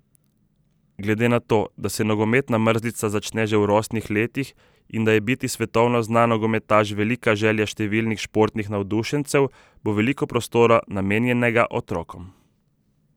Glede na to, da se nogometna mrzlica začne že v rosnih letih in da je biti svetovno znan nogometaš velika želja številnih športnih navdušencev, bo veliko prostora namenjenega otrokom.